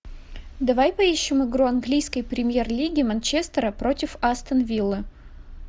давай поищем игру английской премьер лиги манчестера против астон виллы